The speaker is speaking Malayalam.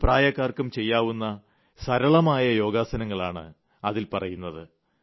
ഏത് പ്രായക്കാർക്കും ചെയ്യാവുന്ന സരളമായ യോഗാസനങ്ങളാണ് അതിൽ പറയുന്നത്